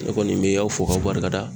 Ne kɔni mi aw fo k'a barika da.